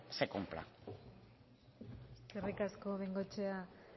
se cumpla eskerrik asko de bengoechea